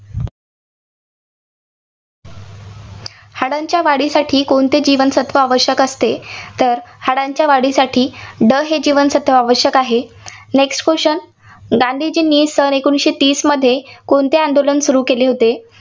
हाडांच्या वाढीसाठी कोणते जीवनसत्त्व आवश्यक असते? तर हाडांच्या वाढीसाठी ड हे जीवनसत्त्व आवश्यक आहे. Next question गांधीजींनी सन एकोणीसशे तीसमध्ये कोणते आंदोलन सुरू केले होते?